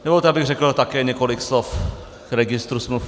Dovolte, abych řekl také několik slov k registru smluv.